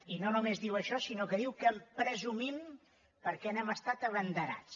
i no només diu això sinó que diu que en presumim perquè n’hem estat abanderats